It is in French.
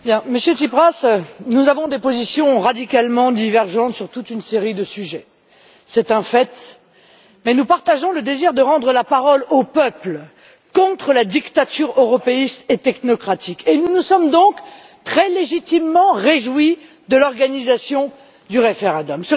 Monsieur le Président, Monsieur Tsipras, nous avons des positions radicalement divergentes sur toute une série de sujets. C'est un fait, mais nous partageons le désir de rendre la parole aux peuples contre la dictature européiste et technocratique, et nous nous sommes donc très légitimement réjouis de l'organisation du référendum.